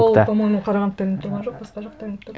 ол по моему қарағандыда ілініп тұрған жоқ басқа жақта ілініп тұрды